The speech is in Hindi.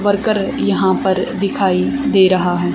वर्कर यहां पर दिखाई दे रहा है।